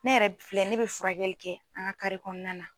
Ne yɛrɛ filɛ ne bɛ furakɛli kɛ an ka kɔnɔna na.